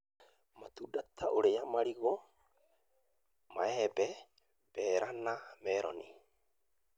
Matunda ta ũrĩa marigũ, maembe, mbera, na meroni,